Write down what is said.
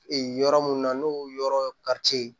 Ee yɔrɔ minnu na n'o yɔrɔ